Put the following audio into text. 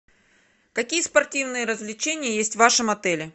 какие спортивные развлечения есть в вашем отеле